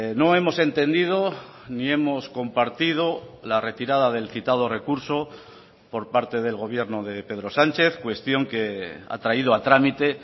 no hemos entendido ni hemos compartido la retirada del citado recurso por parte del gobierno de pedro sánchez cuestión que ha traído a trámite